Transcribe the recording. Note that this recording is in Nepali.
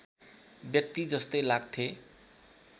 व्यक्ति जस्तै लाग्थे